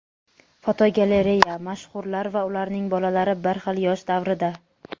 Fotogalereya: Mashhurlar va ularning bolalari bir xil yosh davrida.